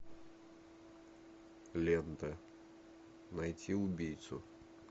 лента найти убийцу